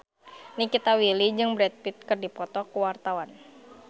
Nikita Willy jeung Brad Pitt keur dipoto ku wartawan